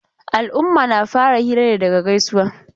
Al'umma na fara hira ne daga gaisuwa.